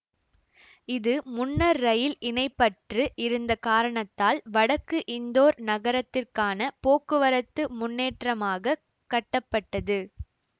இது முன்னர் இரயில் இணைப்பற்று இருந்த காரணத்தால் வடக்கு இந்தோர் நகரத்திற்கான போக்குவரத்து முன்னேற்றமாகக் கட்டப்பட்டது